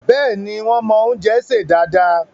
Bẹ́ẹ̀ni, wón mọ́ oúnjẹ sè dáadáa